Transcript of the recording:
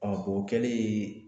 o kɛli